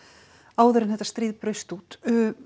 áður en þetta stríð braust út